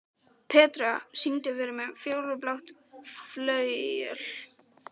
Petrea, syngdu fyrir mig „Fjólublátt flauel“.